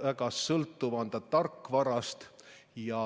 Väga sõltuv on ta tarkvarast ja